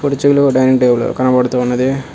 కుర్చీలు dining table కనబడుతూ ఉన్నది.